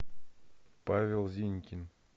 павел зинькин